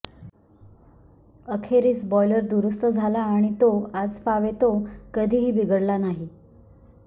अखेरीस बॉयलर दुरुस्त झाला आणि तो आजपावेतो कधीही बिघडला नाही